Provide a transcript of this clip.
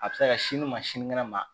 A bɛ se ka sini ma sini kɛnɛ ma